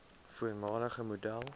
voormalige model